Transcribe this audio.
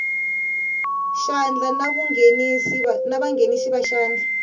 xandla na vanghenisi va xandla